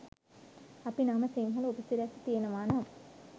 අපි නම සිංහල උපසිරැසි තියෙනවනම්